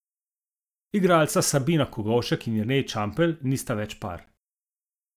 Igralca Sabina Kogovšek in Jernej Čampelj nista več par!